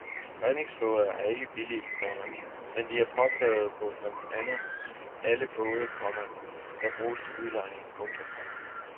Redningsflåder er ikke billige, komma men de er påkrævede på blandt andet alle både, komma der bruges til udlejning. punktum